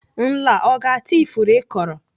Nla ọ ga-ata ifuru ị kọrọ?